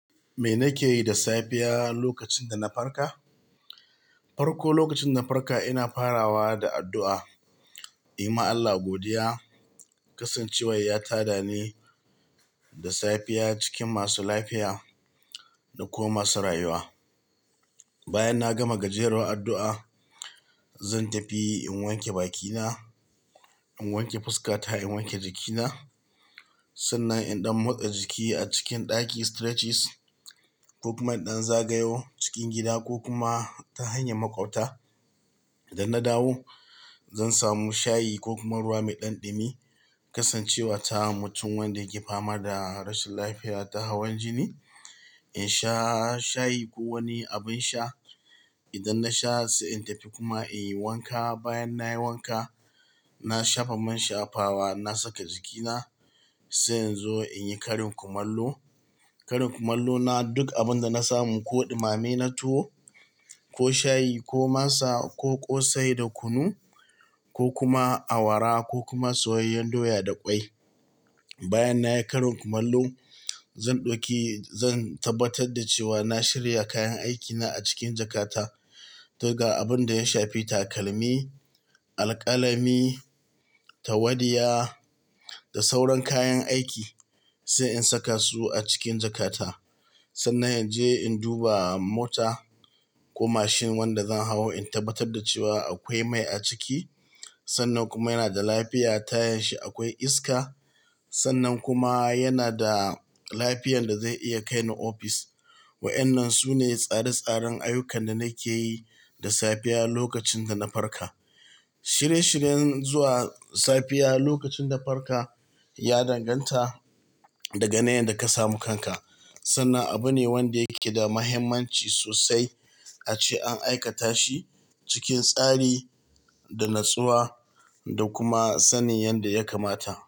Me nake yi da safiya lokacin da na farka? Farko lokacin dana farka ina farawa da addu'a, in yi ma Allah godiya, kasancewar ya tada ni da safiya cikin masu lafiya da kuma masu rayuwa. Bayan na gama gajeruwar addu'a, zan tafi in wanke bakina, in wanke fuska ta, in wanke jikina. Sannan in ɗan motsa jiki a cikin ɗaki, stretches, ko kuma in ɗan zagayo cikin gida ko kuma ta hanyar maƙwabta. Da na dawo zan samu shayi ko kuma ruwa mai ɗan ɗumi, kasancewar ta mutum wanda yake fama da rashin lafiya ta hawan jini. In sha shayi ko wani abin sha. Idan na sha se in tafi kuma in yi wanka. Bayan nayi wanka, na shafa man shafawa, na saka jikina, sai in zo in yi karin kumallo. Karin kumallo na duk abun da na samu ko ɗumame na tuwo ko shayi ko masa ko ƙosai da kunu ko kuma awara ko kuma soyayyen doya da ƙwai. Bayan nayi karin kumallo zan ɗauki-- zan tabbatar da cewa na shirya kayan aikina a cikin jakata. Daga abun da ya shafi takalmi, alƙalami, tawadiya da sauran kayan aiki sai in saka su a cikin jakata. Sannan in je in duba mota ko mashin wanda zan hau, in tabbatar da cewa akwai mai a ciki. Sannan kuma yana da lafiya, tayan shi akwai iska. Sannan kuma yana da lafiyan da zai iya kai ni ofis. Waƴannan sune tsare-tsaren ayyukan da nake yi da safiya lokacin da na farka. Shirye-shiryen zuwa safiya lokacin da farka ya danganta daga na yanda ka samu kanka. Sannan abu ne wanda yake da muhimmanci sosai ace an aikata shi cikin tsari da natsuwa da kuma sanin yanda ya kamata.